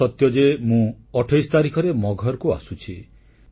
ଏହା ସତ୍ୟ ଯେ ମୁଁ 28 ତାରିଖରେ ମଗହରକୁ ଆସୁଛି